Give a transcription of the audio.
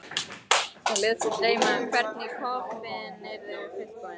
Þær létu sig dreyma um hvernig kofinn yrði fullbúinn.